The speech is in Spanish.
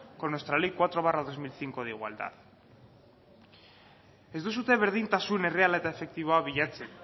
con nuestra ley cuatro barra dos mil cinco de igualdad ez duzue berdintasun erreala eta efektiboa bilatzen